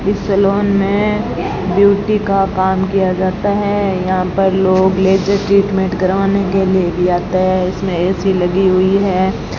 इस सैलून में ब्यूटी का काम किया जाता है यहां पर लोग लेजर ट्रीटमेंट करवाने के लिए भी आता है इसमें ए_सी लगी हुई है।